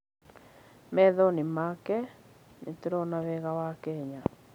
Maitho-inĩ make, nĩ tũrona wega wa Kenya.